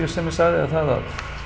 sem ég sagði er það